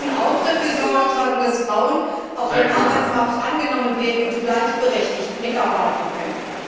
Wir müssen auch dafür Sorge tragen, dass Frauen auf dem Arbeitsmarkt angenommen werden und gleichberechtigt mitarbeiten können.